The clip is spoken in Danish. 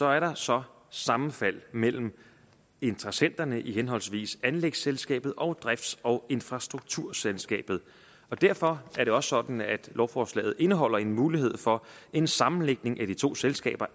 er der så sammenfald mellem interessenterne i henholdsvis anlægsselskabet og drifts og infrastrukturselskabet og derfor er det også sådan at lovforslaget indeholder en mulighed for en sammenlægning af de to selskaber